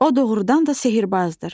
O doğrudan da sehirbazdır!